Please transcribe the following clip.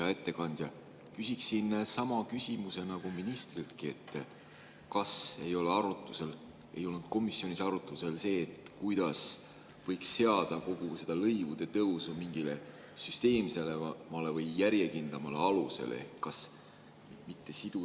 Hea ettekandja, küsiksin sama küsimuse nagu ministriltki: kas ei olnud komisjonis arutusel see, kuidas võiks seada kogu seda lõivude tõusu mingile süsteemsemale või järjekindlamale alusele?